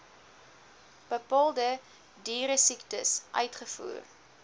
bepaalde dieresiektes uitvoer